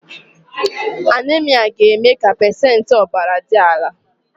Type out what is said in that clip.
Anaemia ga-eme ka pacentị ọbara dị ala